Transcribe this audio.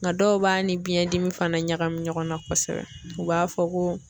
Nga dɔw b'a ni biɲɛ dimi fana ɲagami ɲɔgɔnna kosɛbɛ u b'a fɔ ko